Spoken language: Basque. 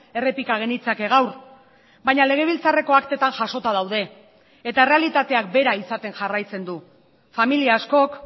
errepika genitzake gaur baina legebiltzarreko aktetan jasota daude eta errealitateak bera izaten jarraitzen du familia askok